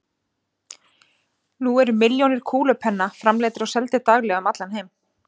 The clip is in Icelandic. Nú eru milljónir kúlupenna framleiddir og seldir daglega um allan heim.